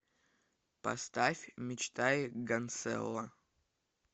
поставь мечтай гансэлло